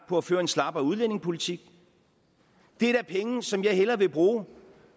på at føre en slappere udlændingepolitik det er da penge som jeg hellere vil bruge